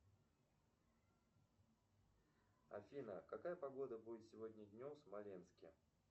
афина какая погода будет сегодня днем в смоленске